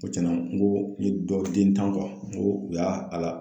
Ko tiɲɛna n ko n ye dɔ den tan n ko u y'a a la